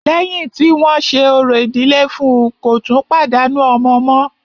Lẹ́yìn tí wọ́n ṣe orò ìdílé fún ùn, kò tún pàdánù ọmọ mọ́.